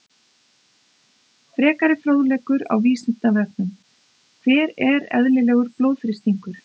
Frekari fróðleikur á Vísindavefnum: Hver er eðlilegur blóðþrýstingur?